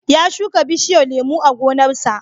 Ya shuka bishiyar lemo a gonarsa.